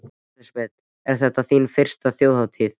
Elísabet: Er þetta þín fyrsta Þjóðhátíð?